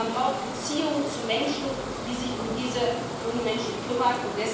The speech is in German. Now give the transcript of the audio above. Man braucht Beziehungen zu Menschen, die sich um diese jungen Menschen kümmern.